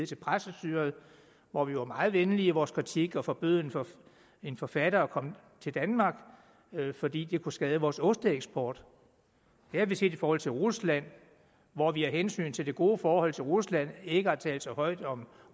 til præstestyret hvor vi var meget venlige i vores kritik og forbød en forfatter at komme til danmark fordi det kunne skade vores osteeksport det har vi set i forhold til rusland hvor vi af hensyn til det gode forhold til rusland ikke har talt så højt om